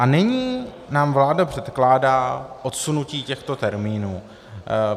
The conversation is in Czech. A nyní nám vláda předkládá odsunutí těchto termínů.